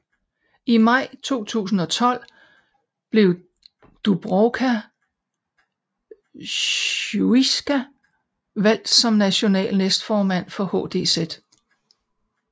I maj 2012 blev Dubravka Šuica valgt som national næstformand for HDZ